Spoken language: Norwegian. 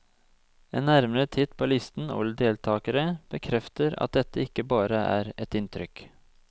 En nærmere titt på listen over deltakere bekrefter at dette ikke bare er et inntrykk.